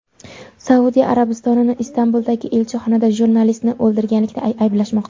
Saudiya Arabistonini Istanbuldagi elchixonada jurnalistni o‘ldirganlikda ayblashmoqda.